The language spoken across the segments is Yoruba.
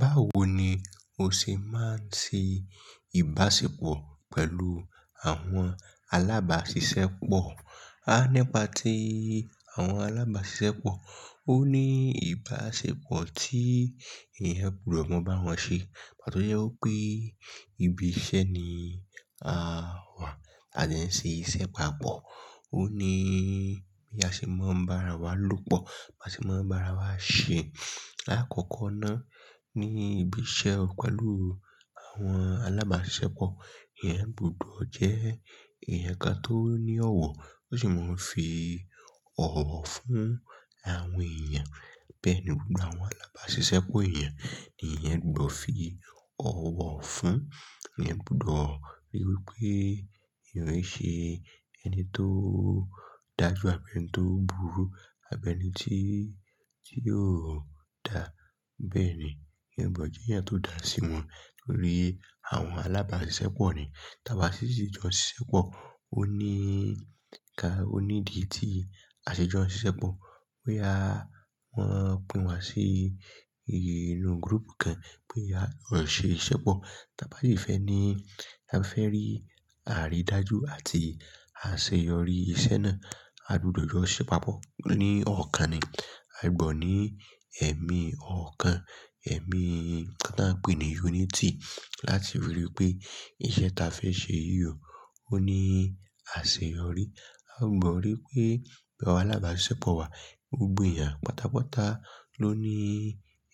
Báwo ni o ṣe máa ń ṣe ìbáṣepọ̀ pẹ̀lú àwọn alábáṣiṣẹ́pọ̀? Á nípa tí àwọn alábáṣiṣẹ́pọ̀ ó ní ìbáṣepọ̀ tí èèyàn gbọdọ̀ máa bá wọn ṣe. Ìgbà tó jẹ́ wípé ibi iṣẹ́ ni a wà, a dẹ́ ń ṣe iṣẹ́ papọ̀. Ó ní bí a ṣe máa ń bá ara wa lòpọ̀, bá ṣe máa ń bá ara wa ṣe. Àkọ́kọ́ náà ní ibi iṣẹ́ pẹ̀lú àwọn alábáṣiṣẹ́pọ̀, èèyàn gbọdọ̀ jẹ́ èèyàn kan tó ní ọ̀wọ̀, tó sì máa ń fi ọ̀wọ̀ fún àwọn èèyàn. Bẹ́ẹ̀ ni gbogbo àwọn alábáṣiṣẹ́pọ̀ èèyàn ní èèyàn gbọdọ̀ fi ọ̀wọ̀ fún. Ẹ̀yàn gbọdọ̀ ríi wí pé èèyàn lè ṣe ẹni tó dájú àbí ẹni tó burú àbí ẹni tí, tí yóò dà. Bẹ́ẹ̀ ni, èèyàn gbọdọ̀ jẹ́ èèyàn tó dà sí wọn nítorí àwọn alábáṣiṣẹ́pọ̀ ni. Tí a bá sì ṣì jọ ṣiṣẹ́pọ̀, ó ní ká, ó ní ìdí tí a ṣe jọ ṣiṣẹ́pọ̀. Pé a wọ́n pín wa sí inú group kan pé a ń ṣe iṣẹ́pọ̀. Tí a bá sì fẹ́ ní, a fẹ́ rí àrí dájú àti àṣeyọrí iṣẹ́ náà, a gbọdọ̀ yọ ṣíṣe papọ̀. Ni ọ̀kan ni, a gbọdọ̀ ní ẹ̀mí ọ̀kan, ẹ̀mí kan tí à ń pè ní unity láti ríi wí pé iṣẹ́ tí a fẹ́ ṣe yìí ò, ó ní àṣeyọrí. A gbọdọ̀ ríi pé gbogbo àwọn alábáṣiṣẹ́pọ̀ wa, gbogbo èèyàn pátápátá ló ní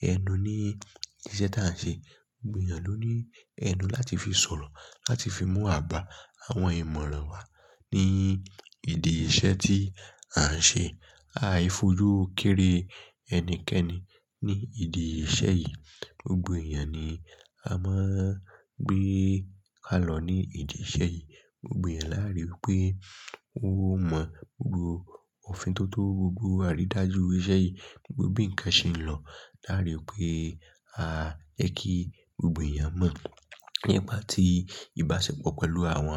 ẹnu ní iṣẹ́ tí à ń ṣe. Gbogbo èèyàn ló ní ẹnu láti fi sọ̀rọ̀, láti fi mú àbá àwọn ìmọ̀ràn wa ní ìdí iṣẹ́ tí à ń ṣe. A á fojú kéré ẹnikẹ́ni ní ìdí iṣẹ́ yìí. Gbogbo èèyàn ni a máa gbé ká lọ ní ìdí iṣẹ́ yìí. Gbogbo èèyàn láa rí wípé ó mọ̀ gbogbo òfin tó tó, gbogbo àrí dájú iṣẹ́ yìí, gbogbo bí ǹkan ṣe ń lọ. Láa ri wípé a jẹ́ kí gbogbo èèyàn mọ̀. Nípa tí ìbáṣepọ̀ pẹ̀lú àwọn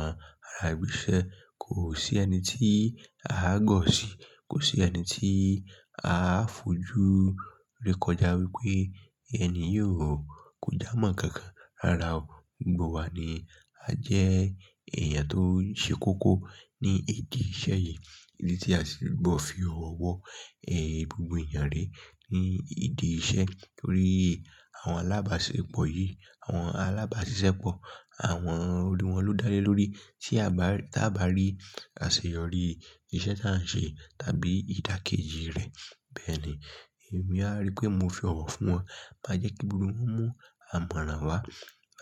ará ibi iṣẹ́ kò sí ẹni tí a á gọ̀ sí, kò sí ẹni tí a á fojú re kọjá wípé ẹni yóò kò dá mọ́ kankan. Rárá o, gbogbo wa ni a jẹ́ èèyàn tó ṣe kókó ní ìdí iṣẹ́ yìí. Ìdí tí a sì gbọdọ̀ fi ọ̀wọ̀ ẹ gbogbo èèyàn re ní ìdí iṣẹ́ nítorí àwọn alábáṣepọ̀ yìí, àwọn alábáṣiṣẹ́pọ̀, àwọn olùwọ́ ló dá lé lórí. Tí a bá, tí a bá rí àṣeyọrí iṣẹ́ tí à ń ṣe tàbí ìdàkejì rẹ̀, bẹ́ẹ̀ ni, èmi a ríi pé mo fi ọ̀wọ̀ fún wọn. Máa jẹ́ kí gbogbo wọn mú ìmọ̀ràn wá.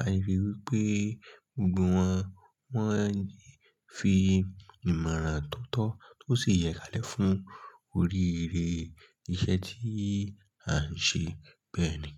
A lè ríi wí pé gbogbo wọn, wọ́n ń fi ìmọ̀ràn tó tọ́ tó sì yẹ ká lẹ̀ fún oríire iṣẹ́ tí à ń ṣe. Bẹ́ẹ̀ ni.